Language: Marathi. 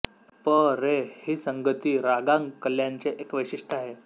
प रे ही संगती रागांग कल्याणचे एक वैशिष्ट्य आहे